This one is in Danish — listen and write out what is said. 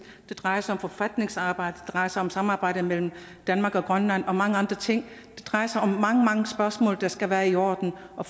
det drejer sig om forfatningsarbejde det drejer sig om samarbejdet mellem danmark og grønland og mange andre ting det drejer sig om mange mange spørgsmål der skal være i orden og